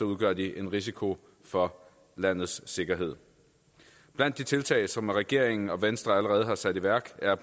udgør de en risiko for landets sikkerhed blandt de tiltag som regeringen og venstre allerede har sat i værk er